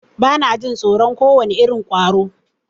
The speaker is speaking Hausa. Bana jin tsoron kowane irin ƙwaro.